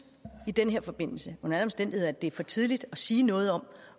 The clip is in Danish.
i den her forbindelse under alle omstændigheder at det er for tidligt at sige noget om